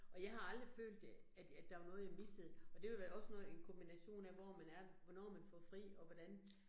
Og jeg har aldrig følt øh, at at der var noget jeg missede. Og det vil være også noget en kombination af, hvor man er hvornår man får fri og hvordan